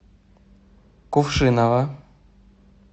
кувшиново